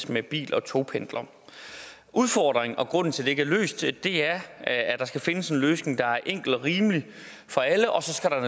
med bil og togpendlere udfordringen og grunden til at det ikke er løst er at der skal findes en løsning der er enkel og rimelig for alle og